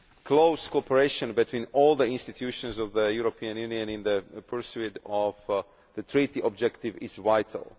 Close cooperation between all the institutions of the European Union in the pursuit of the Treaty objective is vital.